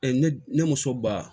ne ne muso ba